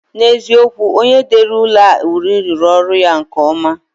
N'eziokwu, onye dere ụlọ a uri rụrụ ọrụ ya nke ọma